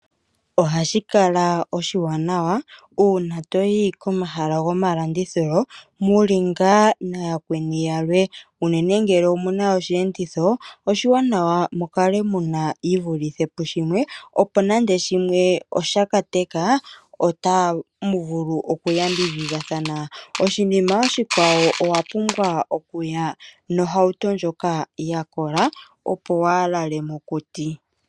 Ohashi kala oshiwaanawa, uuna toyi komahala gomalandithilo muli ngaa na yakweni yalwe, unene ngele omu na osheenditho, oshiwanawa mu kale muna yi vulithe pushimwe opo nande shimwe osha ka teka otamu vulu okuyambidhidhathana. Oshinima oshikwawo owa pumbwa okuya nohauto ndjoka ya kola opo waa lale mokuti.